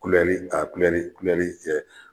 a kɛ